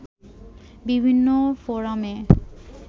বিভিন্ন ফোরামে